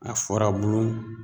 A furabulu